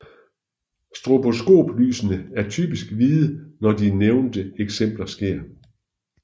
Stroboskoplysene er typisk hvide når de nævnte eksempler sker